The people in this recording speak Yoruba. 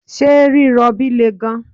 ṣe rirobi le gan